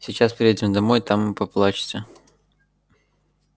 сейчас приедем домой там и поплачете